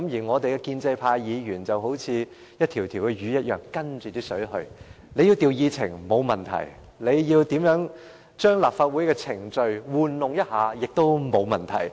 我們的建制派議員好比一條魚，隨水而游：政府要調動議程，沒問題；政府要玩弄立法會的程序，也沒有問題。